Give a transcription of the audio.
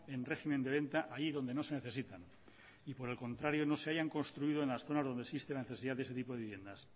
en régimen de venta allí donde no se necesitan y por el contrario no se hayan construido en las zonas donde existe necesidad de ese tipo de vivienda